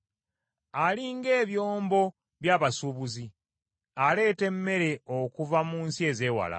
Ali ng’ebyombo by’abasuubuzi, aleeta emmere okuva mu nsi ezeewala.